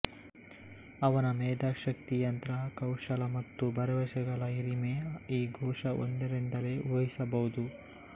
ಅವನ ಮೇಧಾಶಕ್ತಿ ಯಂತ್ರ ಕೌಶಲ ಮತ್ತು ಭರವಸೆಗಳ ಹಿರಿಮೆ ಈ ಘೋಷ ಒಂದರಿಂದಲೇ ಊಹಿಸಬಹುದು